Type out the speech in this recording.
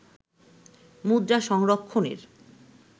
মুদ্রা সংরক্ষণের